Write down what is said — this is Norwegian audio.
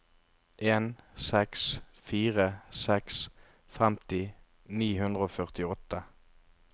en seks fire seks femti ni hundre og førtiåtte